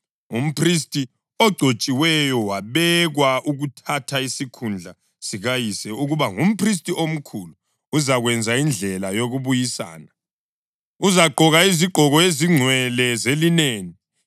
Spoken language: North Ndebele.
Umphristi ogcotshiweyo, wabekwa ukuthatha isikhundla sikayise ukuba ngumphristi omkhulu uzakwenza indlela yokubuyisana. Uzagqoka izigqoko ezingcwele zelineni,